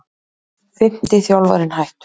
Fimmti þjálfarinn hættur